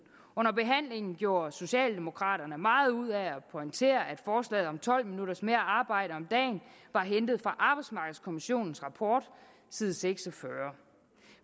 under behandlingen gjorde socialdemokraterne meget ud af at pointere at forslaget om tolv minutters mere arbejde om dagen var hentet fra arbejdsmarkedskommissionens rapport side seks og fyrre